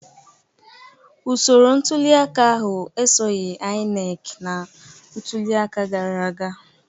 Usoro ntuliaka ahụ esoghị INEC na ntuliaka gara aga